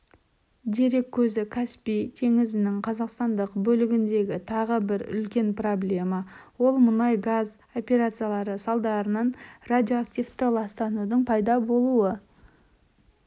дерек көзі каспий теңізінің қазақстандық бөлігіндегі тағы бір үлкен проблема ол мұнай мен газ операциялары салдарынан радиоактивті ластанудың пайда болуы